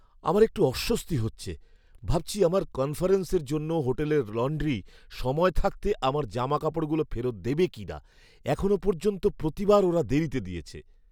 আমার একটু অস্বস্তি হচ্ছে, ভাবছি আমার কনফারেন্সের জন্য হোটেলের লন্ড্রি সময় থাকতে আমার জামাকাপড়গুলো ফেরত দেবে কিনা। এখনও পর্যন্ত প্রতিবার ওরা দেরীতে দিয়েছে!